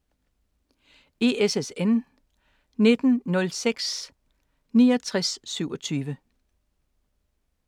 ISSN 1902-6927